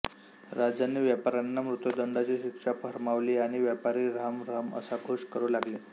राजाने व्यापाऱ्यांना मृत्युदंडाची शिक्षा फर्मावली आणि व्यापारी रहम रहम असा घोष करू लागले